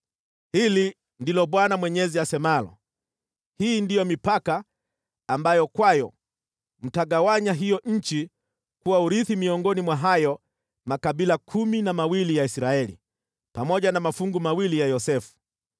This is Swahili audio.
Hili ndilo Bwana Mwenyezi asemalo: “Hii ndiyo mipaka ambayo kwayo mtagawanya hiyo nchi kuwa urithi miongoni mwa hayo makabila kumi na mawili ya Israeli, pamoja na mafungu mawili ya Yosefu.